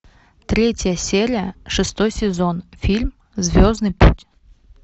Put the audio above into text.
третья серия шестой сезон фильм звездный путь